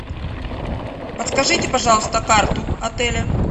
подскажите пожалуйста карту отеля